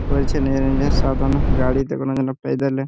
করেছে সাধনা গাড়িতে কোনোদিনও পেইদলে।